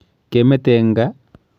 Kemete eng gaa?